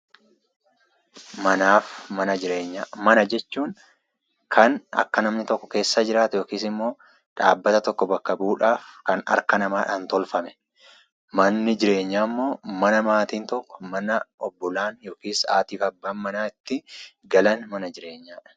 Manaaf mana jireenyaa; mana jechuun Kan akka namni tokko keessa jiraatu ykn immoo dhaabbata tokko bakka bu'udha; Kan harkaa namadhaan tolfame. manni jireenyaa immoo mana maatiin tokko mana obboolaan ykn Haatiif Abbaan manaa itti galan mana jireenyaadha.